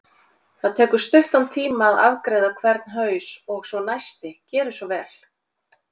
Það tekur stuttan tíma að afgreiða hvern haus og svo næsti, gerið svo vel!